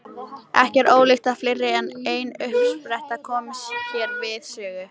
Ekki er ólíklegt að fleiri en ein uppspretta komi hér við sögu.